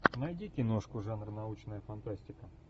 найди киношку жанр научная фантастика